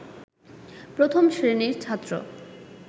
প্রথম শ্রেণির ছাত্র